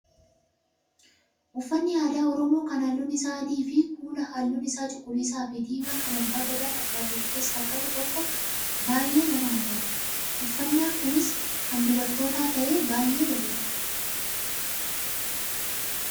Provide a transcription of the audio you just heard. Uffanni aadaa oromoo kan halluun isaa adii fi kuula halluun isaa cuquliisaa fi diimaa kan abbaa gadaa fakkaatu of keessaa qabu tokko baay'ee nama hawwata. Uffannaan Kunis kan dubartoota ta'ee baay'ee bareeda.